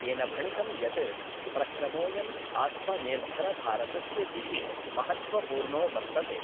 तेन भणितं यत् प्रक्रमोऽयम् आत्मनिर्भरभारतस्य दिशि महत्वपूर्णो वर्तते।